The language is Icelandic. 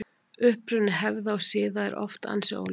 Uppruni hefða og siða er oft ansi óljós.